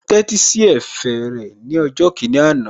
Mo tẹ́tí sí ẹ̀fẹ̀ rẹ̀ ní ọjọ́ kìíní àná